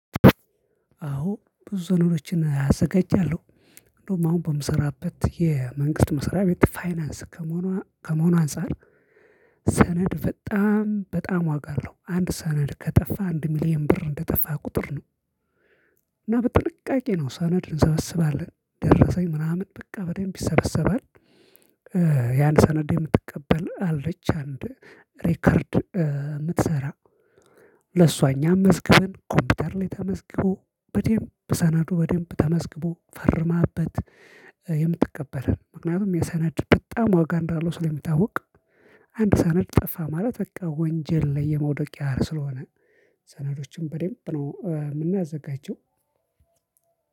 አዎ ብዙ ነገሮችን አዘጋጃለሁ። እንደውም አሁን በምሰራበት የመንግስት መሰሪያ ቤት ፋይናንስ ከመሆኑ ከመሆኑ አንፃር ሰነድ በጣም በጣም ዋጋ አለው። አንድ ሰነድ ከጠፋ አንድ ሚሊየን ብር እንደጠፋ ቁጥር ነው እና በጥንቃቄ ነው ሰነድ እንሰበስባለን ደረሰኝ ምናምን በቃ በደንብ ይሰበሰባል። ያን ሰነድ የምትቀበል አለች አንድ ሪከርድ የምትሰራ ለሷ እኛም መዝገብን ኮምፒውተር ላይ ተመዝግቦ በደንብ ሰነዱ በደንብ ተመዝግቦ ፈርማበት። የምትቀበለን ምክንያቱም የሰናድ በጣም ዋጋ እንዳልሆነ ስለሚታወቅ ሰነድ በጣም በጣም ዋጋ አለው። አንድ ሰነድ ከጠፋ አንድ ሚሊየን ብር እንደጠፋ ቁጥር ነው እና በጥንቃቄ ነው ሰነድ እንሰበስባለን ደረሰኝ ምናምን በቃ በደንብ ይሰበሰባል። ሰነዶችን በደንብ ነው ምናዘጋጀው።